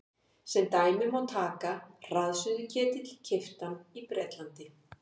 Sem dæmi má taka hraðsuðuketil keyptan í Bretlandi.